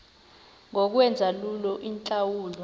ngokwenza lula iintlawulo